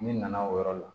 Ne nana o yɔrɔ la